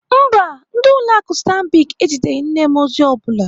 Mba, ndị ụlọ akụ Stanbic eziteghị nne m ozi ọ bụla.